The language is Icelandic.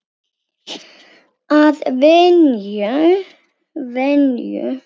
Að venju.